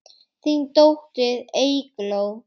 Þín dóttir, Eygló.